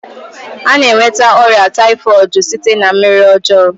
Ana enweta ọrịa taifọdu site na mmiri ọjọọ m